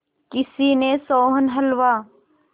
किसी ने सोहन हलवा